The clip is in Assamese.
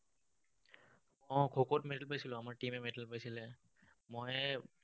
উম খোখোত medal পাইছিলো। আমাৰ team এ medal পাইছিলে। ময়ে